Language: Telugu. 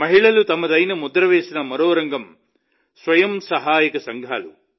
మహిళలు తమదైన ముద్ర వేసిన మరో రంగం స్వయం సహాయక సంఘాలు